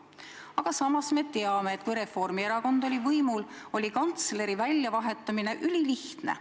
Aga samas me teame, et kui Reformierakond oli võimul, siis oli kantsleri väljavahetamine ülilihtne.